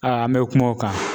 an mɛ kuma o kan